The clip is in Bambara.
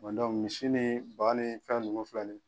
misi ni ban ni fɛn nunnu filɛ ni ye